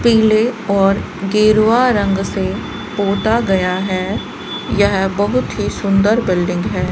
पीले और गेरुआ रंग से पोता गया है यह बहुत ही सुंदर बिल्डिंग है।